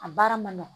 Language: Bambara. A baara ma nɔgɔn